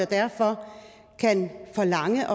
derfor kan forlange